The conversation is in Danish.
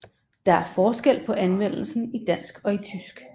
Der er forskel på anvendelsen i dansk og i tysk